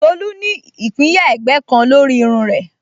Tolu ní ìpinyà ẹ̀gbẹ́ kan lórí irun rẹ̀